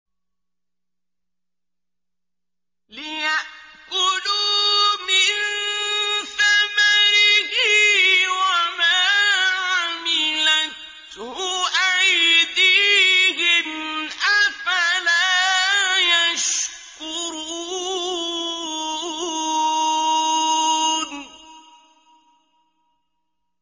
لِيَأْكُلُوا مِن ثَمَرِهِ وَمَا عَمِلَتْهُ أَيْدِيهِمْ ۖ أَفَلَا يَشْكُرُونَ